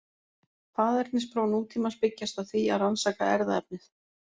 Faðernispróf nútímans byggjast á því að rannsaka erfðaefnið.